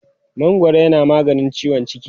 mangwaro yana maganin ciwon ciki